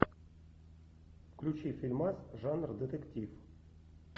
включи фильмас жанра детектив